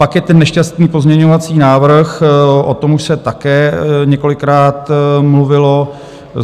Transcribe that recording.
Pak je ten nešťastný pozměňovací návrh, o tom už se také několikrát mluvilo.